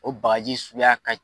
O bakaji suguya ka